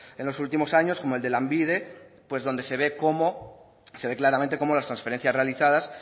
en los últimos años como el de lanbide pues donde se ve cómo se ve claramente cómo las transferencias realizadas